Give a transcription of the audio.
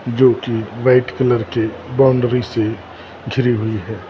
जोकि white colour की boundary से झुरी हुई है यह बात।